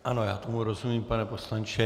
Ano, já tomu rozumím, pane poslanče.